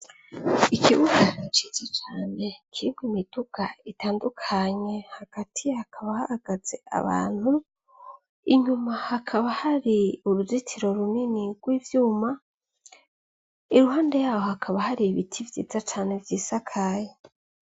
Ikibugaiciza cane kirirwe imiduga itandukanye hagatiy hakaba hahagaze abantu inyuma hakaba hari uruzitiro runini rw' ivyuma iruhande yaho hakaba hari ibiti vyiza cane vy'isakaye.